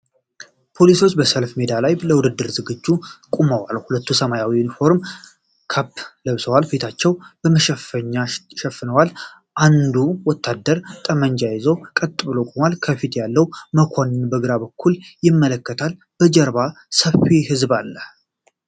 ፖሊሶች በሰልፍ ሜዳ ላይ ለውትድርና ዝግጅት ቆመዋል። ሁሉም ሰማያዊ ዩኒፎርምና ካፕ ለብሰዋል። ፊታቸውን በመሸፈኛ ሸፍነዋል። እያንዳንዱ ወታደር ጠመንጃ ይዞ ቀጥ ብሎ ቆሟል። ከፊት ያለው መኮንን በግራ በኩል ይመለከታል። ከጀርባ ሰፊ ህዝብ አለ።